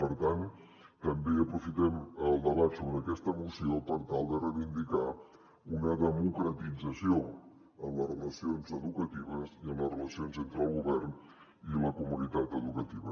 per tant també aprofitem el debat sobre aquesta moció per tal de reivindicar una democratització en les relacions educatives i en les relacions entre el govern i la comunitat educativa